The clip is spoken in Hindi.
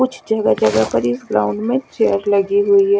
कुछ ग्राउंड में चेयर लगी हुई है।